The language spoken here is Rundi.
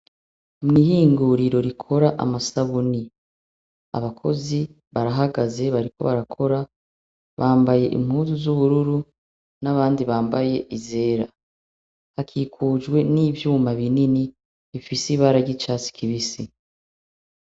Mw'ihinguriro rikora amasabuni, abakozi barahagaze bariko barakora, bambaye impuzu z'ubururu n'abandi bambaye izera. Hakikujwe n'ivyuma binini ifise ibara ry'icatsi kibisi.